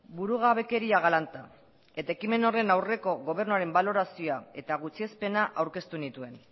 burugabekeria galanta eta ekimen horren aurreko gobernuaren balorazioa eta gutxiespena aurkeztu nituen